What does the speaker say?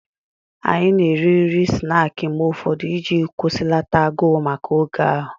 Anyị na-eri nri snaakị mgbe ụfọdụ iji kwụsịlata agụụ maka oge ahụ